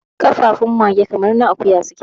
kafafun mage kamar na akuya suke